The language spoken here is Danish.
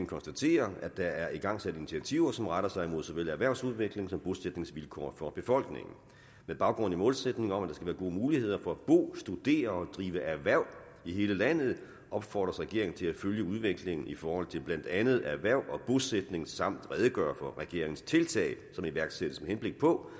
konstaterer at der er igangsat initiativer som retter sig mod såvel erhvervsudvikling som bosætningsvilkår for befolkningen med baggrund i målsætningen om at der skal være gode muligheder for at bo studere og drive erhverv i hele landet opfordres regeringen til at følge udviklingen i forhold til blandt andet erhverv og bosætning samt redegøre for regeringens tiltag som iværksættes med henblik på